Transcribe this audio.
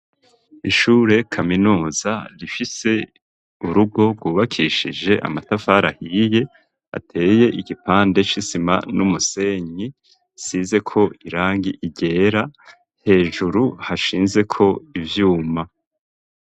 Ishure kaminuza rifise urugo rwubakishije amatavara hiye ateye igipande ch'isima n'umusenyi isizeko irangi ryera hejuru hashinzeko ivyuma.